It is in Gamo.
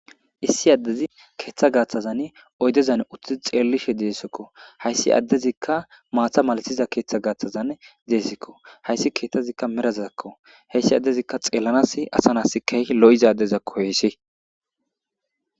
issi addezi keeththa gaaththazan oydezan utti xeellishe deessekko hayssi addezikka maatha malatiza keeththa gaaththazan deessikko hayssi keeththazikka merazazakko heyssi addezikka xeellanas asanasikayi lo7izadeza koyissi